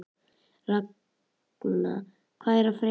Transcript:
Ragna, hvað er að frétta?